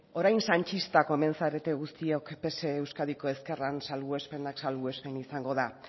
orain sanchistak omen zarete guztiok pse euskadiko ezkerran salbuespenak salbuespen izango da